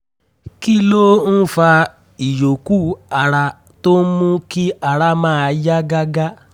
kí ló ń fa ìyókù ara tó ń mú kí ara máa yá gágá?